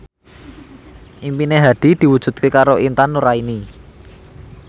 impine Hadi diwujudke karo Intan Nuraini